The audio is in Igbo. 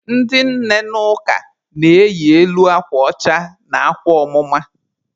Ndị nne n'ụka na-eyi elu akwa ọcha na akwa ọmụma.